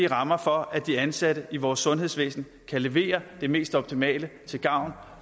rammer for at de ansatte i vores sundhedsvæsen kan levere det mest optimale til gavn